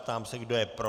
Ptám se, kdo je pro.